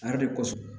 A yɛrɛ de kosɔn